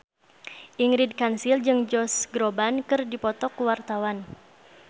Ingrid Kansil jeung Josh Groban keur dipoto ku wartawan